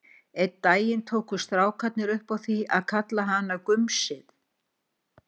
Einn daginn tóku strákarnir upp á því að kalla hana gumsið.